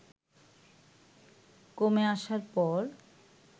কমে আসার পর